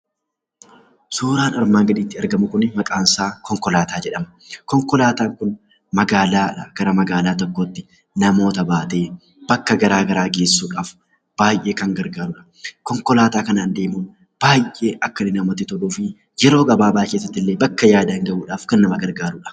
Suuraan armaan gadiitti argamu kun maqaansaa konkolaataa jedhama. Konkolaataan kun magaalaadhaa gara magaalaa kan tokkootti namoota baatee bakka garaagaraa geessuuf baay'ee kan gargaarudha. Konkolaataa kanaan deemuun baay'ee akka inni namatti toluu fi yeroo gabaabaa keessatti bakka yaadan gahuuf kan nama gargaarudha.